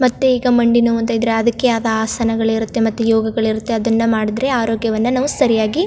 ಮತ್ತೆ ಈಗಾ ಮಂಡಿ ನೋವು ಅಂತ ಇದ್ರೆ ಅದಕ್ಕೆ ಆದ ಆಸನಗಳಿರುತ್ತೆ ಮತ್ತೆ ಯೋಗಗಳಿರುತ್ತೆ ಅದನ್ನಾ ಮಾಡಿದ್ರೆ ಆರೋಗ್ಯವನ್ನಾ ನಾವು ಸರಿಯಾಗಿ --